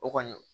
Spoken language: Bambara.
O kɔni